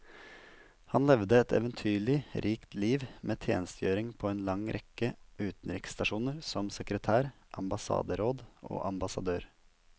Han levde et eventyrlig rikt liv, med tjenestegjøring på en lang rekke utenriksstasjoner som sekretær, ambassaderåd og ambassadør.